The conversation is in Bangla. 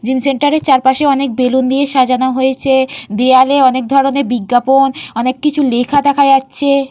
জিম সেন্টারে চারপাশে অনেক বেলুন দিয়ে সাজানো হয়েছে দেয়ালে অনেক ধরনের বিজ্ঞাপন অনেক কিছু লেখা দেখা যাচ্ছে।